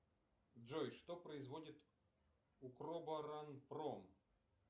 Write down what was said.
джой что производит укроборонпром